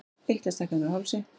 Eitlastækkanir á hálsi.